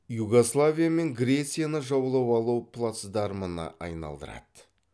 югославия мен грецияны жаулап алу плацдармына айналдырады